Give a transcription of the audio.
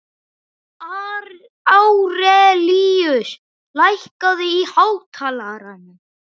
Árelíus, lækkaðu í hátalaranum.